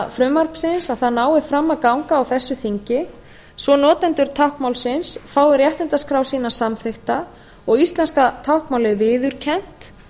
frumvarpsins að það nái fram að ganga á þessu þingi svo notendur táknmálsins fái réttindaskrá sína samþykkta og íslenska táknmálið viðurkennt